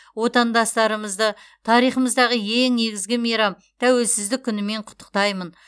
отандастарымды тарихымыздағы ең негізгі мейрам тәуелсіздік күнімен құттықтаймын